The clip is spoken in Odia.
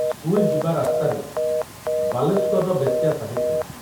ସ୍କୁଲ ଯିବା ରାସ୍ତାରେ ବାଲେଶ୍ୱରର ବେଶ୍ୟା ସାହି ଥିଲା।